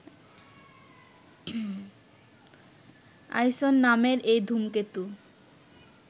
আইসন নামের এই ধূমকেতু